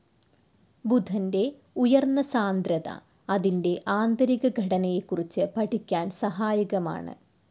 ബുധന്റെ ഉയർന്ന സാന്ദ്രത അതിന്റെ ആന്തരിക ഘടനയെക്കുറിച്ച് പഠിക്കാൻ സഹായകമാണ്‌.